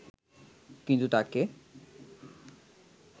কিন্তু তাকে